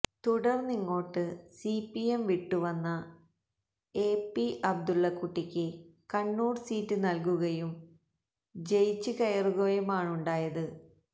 തുടര്ന്നിങ്ങോട്ട് C P M വിട്ടുവന്ന A P അബദുല്ലക്കുട്ടിക്ക് Kannur seat നല്കുകയും ജയിച്ച് കയറുകയുമാണുണ്ടായത്